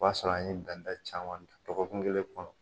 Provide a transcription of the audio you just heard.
O y'a sɔrɔ an ye danda caman dɔgɔkun kelen kɔnɔ